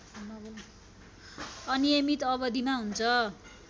अनियमित अवधिमा हुन्छ